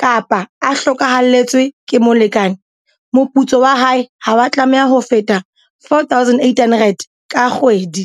kapa a hlokahalletswe ke molekane, moputso wa hae ha wa tlameha ho feta R4 800 ka kgwedi.